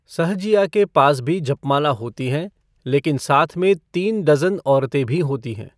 सहजिया के पास भी जप माला होती हैं लेकिन साथ में तीन डज़न औरते भी होती हैं।